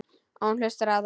Og hún hlustar á þær.